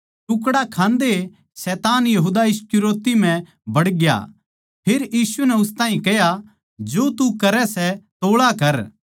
टुकड़ा खान्दए शैतान यहूदा इस्करियोती म्ह बड़ग्या फेर यीशु नै उस ताहीं कह्या जो तू करै सै तोळा कर